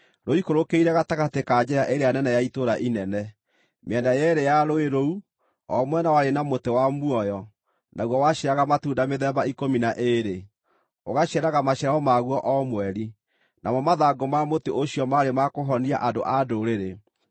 rũikũrũkĩire gatagatĩ ka njĩra ĩrĩa nene ya itũũra inene. Mĩena yeerĩ ya rũũĩ rũu, o mwena warĩ na mũtĩ wa muoyo, naguo waciaraga matunda mĩthemba ikũmi na ĩĩrĩ, ũgaciaraga maciaro maguo o mweri. Namo mathangũ ma mũtĩ ũcio maarĩ ma kũhonia andũ a ndũrĩrĩ.